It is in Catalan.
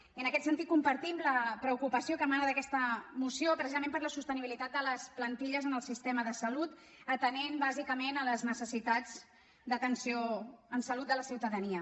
i en aquest sentit compartim la preocupació que emana d’aquesta moció precisament per la sostenibilitat de les plantilles en el sistema de salut atenent bàsicament les necessitats d’atenció en salut de la ciutadania